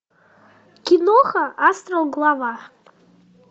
киноха астрал глава